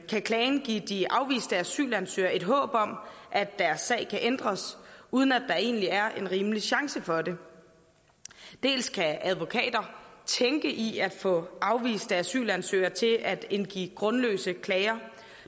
kan klagen give de afviste asylansøgere et håb om at deres sag kan ændres uden at der egentlig er en rimelig chance for det dels kan advokater tænke i at få afviste asylansøgere til at indgive grundløse klager